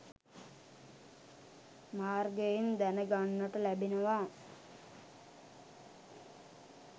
මාර්ගයෙන් දැන ගන්නට ලැබෙනවා.